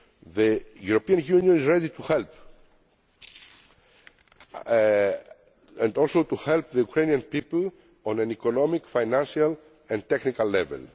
each other. The European Union is ready to help, and also to help the Ukrainian people on an economic, financial and technical